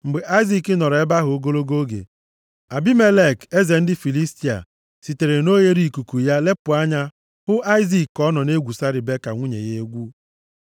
Mgbe Aịzik nọrọ ebe ahụ ogologo oge, Abimelek eze ndị Filistia, sitere na oghereikuku ya lepụ anya hụ Aịzik ka ọ nọ na-egwusa Ribeka nwunye ya egwu.